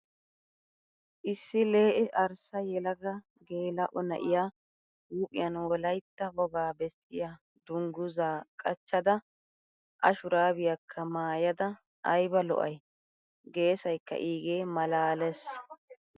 Issi lee"e arssa yelaga gela"o na"iyaa huuphiyan wolayitya wogaa bessiyaa dunguzzaa qachchada A shuraabiyaakka maayyada ayiba lo"ayi. Gesayikkaa iigee maalaales.